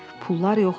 Pullar yox idi.